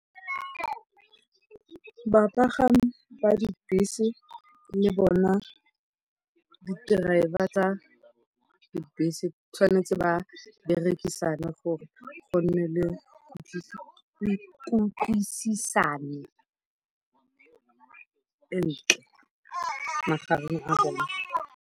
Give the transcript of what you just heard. Bapagami ba dibese le bona di-driver tsa dibese tshwanetse ba berekisane gore go nne le kutlwisisano e ntle magareng ga bone.